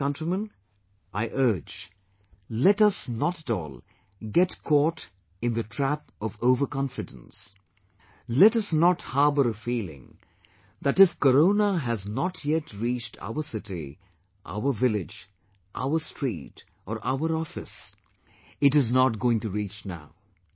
To my countrymen, I urge , let us not at all get caught in the trap of overconfidence, let us not harbor a feeling that if corona has not yet reached our city, our village, our street or our office, it is not going to reach now